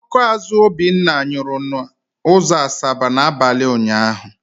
Ọkụ azụ ọkada Obinna nyụrụ n'ụzọ Asaba n'abalị ụnyaahụ.